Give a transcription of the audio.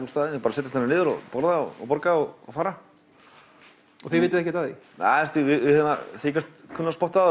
setjast niður og borða og borga og fara og þið vitið ekkert af því við þykjumst kunna að spotta